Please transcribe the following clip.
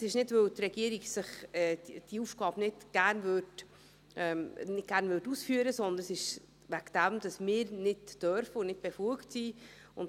Es ist nicht, weil die Regierung diese Aufgabe nicht gerne ausführen möchte, sondern weil wir dies nicht dürfen und nicht befugt sind.